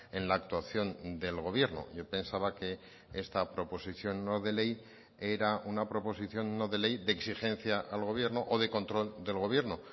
en la actuación del gobierno yo pensaba que esta proposición no de ley era una proposición no de ley de exigencia al gobierno o de control del gobierno